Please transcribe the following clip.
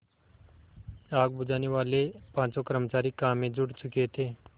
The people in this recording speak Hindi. आग बुझानेवाले पाँचों कर्मचारी काम में जुट चुके थे